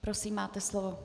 Prosím, máte slovo.